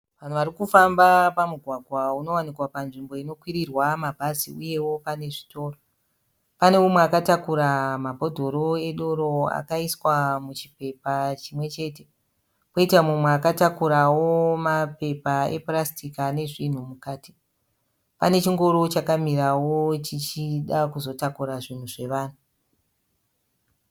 Vanhu vari kufamba pamugwagwa unowanikwa panzvimbo inokwirirwa mabhazi uyewo pane zvitoro. Pane umwe akatakura mabhodhoro edoro akaiswa muchipepa chimwe chete kwoita mumwe akatakurawo mapepa epurasitiki ane zvinhu mukati. Pane chingoro chakamirawo chichida kuzotakura zvinhu zvavanhu.